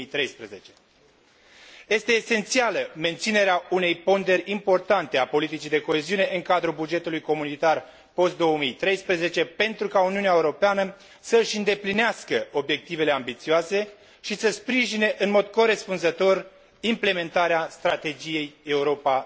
2013. Este esențială menținerea unei ponderi importante a politicii de coeziune în cadrul bugetului comunitar post 2013 pentru ca Uniunea Europeană să și îndeplinească obiectivele ambițioase și să sprijine în mod corespunzător implementarea strategiei Europa